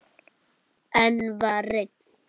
Enn var reynt.